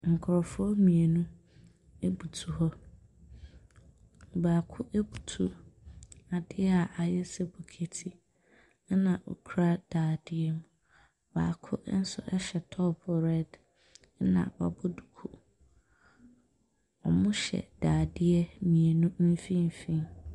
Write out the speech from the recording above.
Nkurɔfoɔ mmienu butu hɔ. Baako butu adeɛ a ayɛ sɛ bokiti, ɛna ɔkura dadeɛ mu. Baako nso hyɛ top red, ɛna wabɔ duku. Wɔhyɛ dadeɛ mmeinu mfimfini.